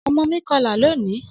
Ọmọ mi kọla loni